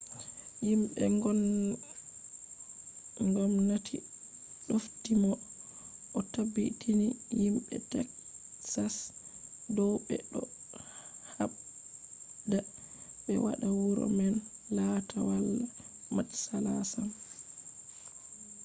yimɓe ngomnati ɗofti mo o tabbitini yimɓe teksas dow ɓe ɗo haɓda ɓe waɗa wuro man latta wala matsala sam